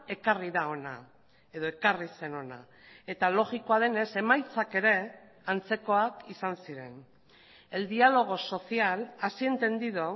ekarri da hona edo ekarri zen hona eta logikoa denez emaitzak ere antzekoak izan ziren el diálogo social así entendido